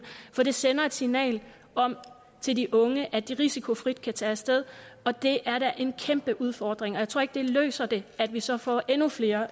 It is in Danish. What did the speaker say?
for det sender et signal til de unge om at de risikofrit kan tage af sted og det er da en kæmpe udfordring og jeg tror ikke det løser det at vi så får endnu flere